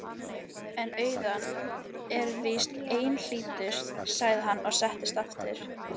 En auðnan er víst einhlítust, sagði hann og settist aftur.